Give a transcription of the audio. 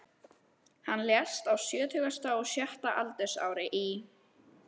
Hann lést á sjötugasta og sjötta aldursári í